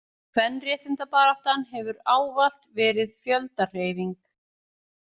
Kvenréttindabaráttan hefur ávallt verið fjöldahreyfing.